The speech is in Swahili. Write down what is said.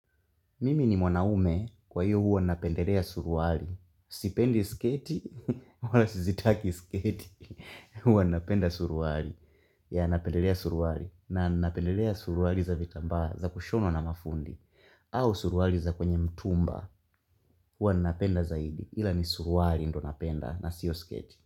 Mimi ni mwanaume kwa hiyo huwa napendelea suruari. Sipendi sketi, wala sizitaki sketi. Huwa napenda suruari. Ya napendelea suruari. Na napendelea suruari za vitamba za kushonwa na mafundi. Au suruari za kwenye mtumba. Huwa napenda zaidi. Ila ni suruari ndo napenda na sio sketi.